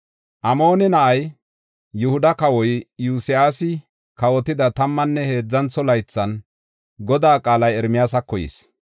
Amoone na7ay, Yihuda kawoy Iyosyaasi kawotida tammanne heedzantho laythan Godaa qaalay Ermiyaasako yis.